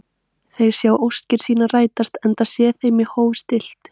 Þeir sjá óskir sínar rætast, enda sé þeim í hóf stillt.